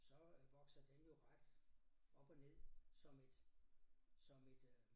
Så øh vokser den jo ret op og ned som et som et øh